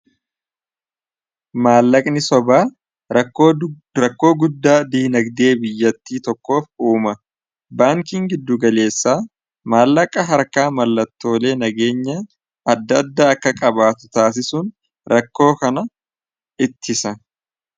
maallaqni sobaa rakkoo guddaa diinagdee biyyattii tokkoof uuma baankiin giddugaleessaa maallaqa harkaa mallattoolee nageenya adda adda akka qabaatu taasisuun rakkoo kana ittisa